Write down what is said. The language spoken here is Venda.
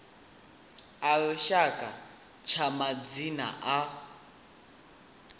a lushaka tsha madzina a